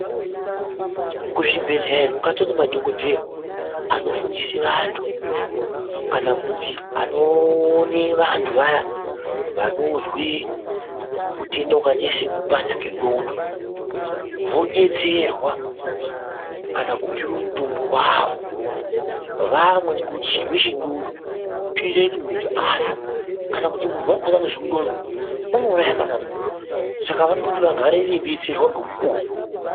Kuzvibhedhleya kwatone madhogodheya anofundise vantu kana kuti anoone vantu vaya vanozwe utenda vakaite se kupanda kwendxondo. Vabetserwe kana kupiva mutombo vavo vamwe ngekuti chirwere chendxondo chinota kuti muntu vafe. Kana kuti muntu vakona unozwe ndxondo unouraya kana muntu saka unode kuti vagare veibetserwa ngemukuvo.